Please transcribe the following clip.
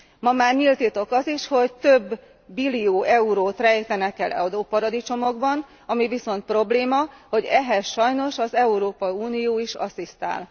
Ma már nyílt titok az is, hogy több billió eurót rejtenek el adóparadicsomokban, ami viszont probléma, hogy ehhez sajnos az Európai Unió is asszisztál.